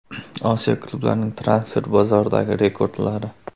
Osiyo klublarining transfer bozoridagi rekordlari.